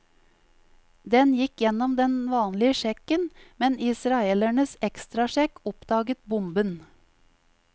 Den gikk gjennom den vanlige sjekken, men israelernes ekstrasjekk oppdaget bomben.